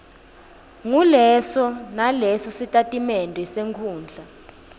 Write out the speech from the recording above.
nguleso nalesositatimende senkhundla